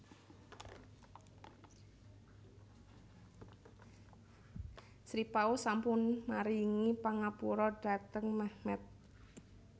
Sri Paus sampun maringi pangapura dhateng Mehmet